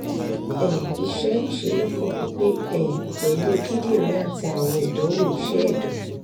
um iṣẹ ìṣe lopo pipe um pẹ̀lú kindiri ati àwọn idanwo iṣẹ edan